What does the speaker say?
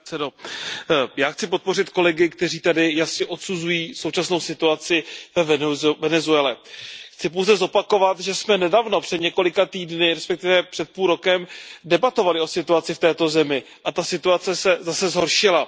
Pane předsedající, já chci podpořit kolegy, kteří tady jasně odsuzují současnou situaci ve Venezuele. Chci pouze zopakovat, že jsme nedávno, před několika týdny, respektive před půl rokem, debatovali o situaci v této zemi a ta situace se zase zhoršila.